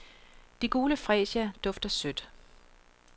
De gule fresia dufter sødt.